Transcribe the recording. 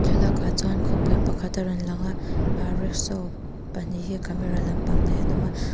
thlalak ah chuan khawpui pakhat a rawn lang a rickshaw pahnih hi camera lam pang hnaiah an awm a.